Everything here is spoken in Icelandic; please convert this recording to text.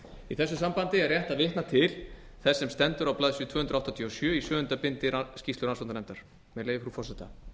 í þessu sambandi er rétt að vitna til þess sem stendur á blaðsíðu tvö hundruð áttatíu og sjö í sjöunda bindi rannsóknarnefndar með leyfi frú forseta